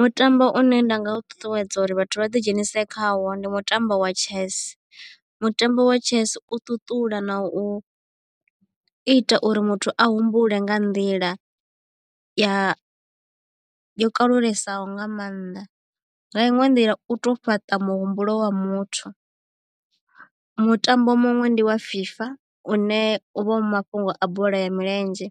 Mutambo une nda nga u ṱuṱuwedza uri vhathu vha ḓi dzhenise khawo ndi mutambo wa chess. Mutambo wa chess u ṱuṱula na u ita uri muthu a humbule nga nḓila ya yo kalulesaho nga maanḓa nga iṅwe nḓila u to fhaṱa muhumbulo wa muthu. Mutambo muṅwe ndi wa FIFA une uvha u mafhungo a bola ya milenzhe